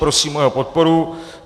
Prosím o jeho podporu.